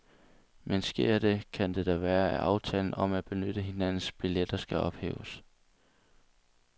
Men sker det, kan det da være, at aftalen om at benytte hinandens billetter skal ophæves.